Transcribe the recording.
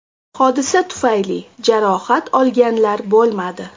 Hodisa tufayli jarohat olganlar bo‘lmadi.